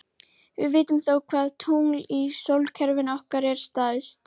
Við vitum þó hvaða tungl í sólkerfinu okkar er stærst.